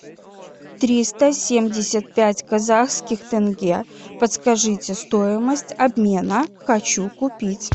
триста семьдесят пять казахских тенге подскажите стоимость обмена хочу купить